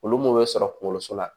Olu mun be sɔrɔ kunkoloso la